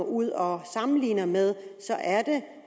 ud og sammenligner med